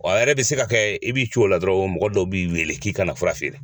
a yɛrɛ bɛ se ka kɛ i b'i co la dɔrɔn mɔgɔ dɔw b'i wele k'i ka na fura feere.